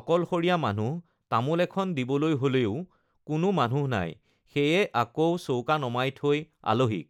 অকলশৰীয়া মানুহ তামোল এখন দিবলৈ হ'লেও কোনো মানুহ নাই সেয়ে আকৌ চৌকা নমাই থৈ আলহিক